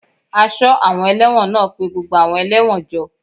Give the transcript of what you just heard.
Aṣọ́ àwọn ẹlẹ́wọ̀n náà pé gbogbo àwọn ẹlẹ́wọ̀n jọ